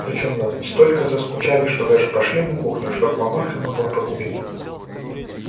причём настолько заскучали что даже пошли на кухню чтоб мамулька могла покурить